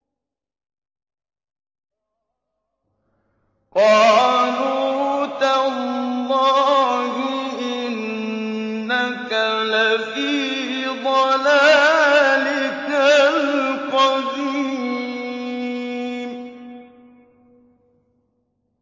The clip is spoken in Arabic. قَالُوا تَاللَّهِ إِنَّكَ لَفِي ضَلَالِكَ الْقَدِيمِ